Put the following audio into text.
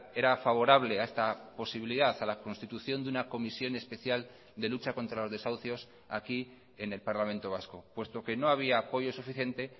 era favorable a esta posibilidad a la constitución de una comisión especial de lucha contra los desahucios aquí en el parlamento vasco puesto que no había apoyo suficiente